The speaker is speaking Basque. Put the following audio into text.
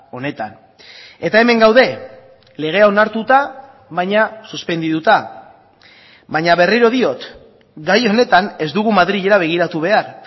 honetan eta hemen gaude legea onartuta baina suspendituta baina berriro diot gai honetan ez dugu madrilera begiratu behar